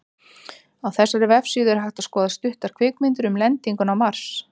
Á þessari vefsíðu er hægt að skoða stuttar kvikmyndir um lendinguna á Mars.